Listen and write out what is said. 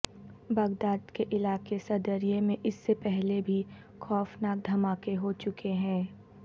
Baghdad کے علاقے Sadriya میں اس سے پہلے بھی خوفناک دھماکے ہو چکے ہیں